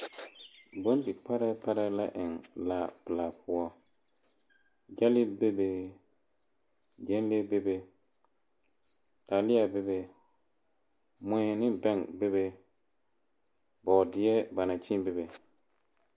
Bondi-parɛɛ parɛɛ la eŋ laapelaa poɔ. Gyɛlee bebe, gyɛnlee bebe, taalea bebe, mui ne bɛŋ bebe, bɔɔdeɛ ba naŋ kyẽẽ bebe.